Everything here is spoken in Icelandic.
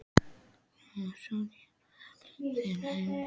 Og svo kinkar maður kolli til himins.